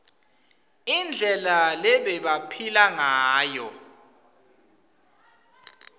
indlela lebebaphila ngayo